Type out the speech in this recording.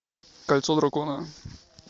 кольцо дракона